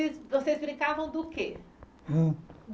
vocês brincavam do quê?